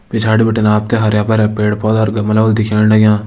पिछाड़ी बिटिन आप तें हरयाँ भर्यां पेड़ पौधा और गमला होला दिखेण लग्यां।